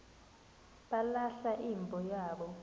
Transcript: balahla imbo yabo